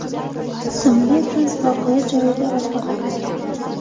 ismli qiz voqea joyida vafot etgan.